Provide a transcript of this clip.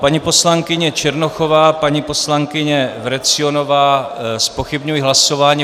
Paní poslankyně Černochová, paní poslankyně Vrecionová zpochybňují hlasování.